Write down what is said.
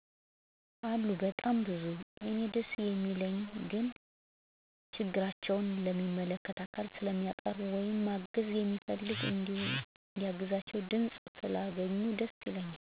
አሉ በጣም ብዙ። እኔ ደስ የሚለኝ ግን ችግራቸው ለሚመለከተው አካል ስለቀረበ ወይም ማገዝ የሚፈልግ እንዲያግዛቸው ድምፅ ስላገኙ ደስ ይለኛል።